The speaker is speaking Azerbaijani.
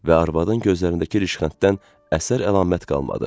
Və arvadın gözlərindəki rişxənddən əsər-əlamət qalmadı.